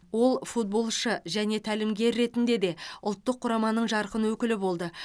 ол футболшы және тәлімгер ретінде де ұлттық құраманың жарқын өкілі болды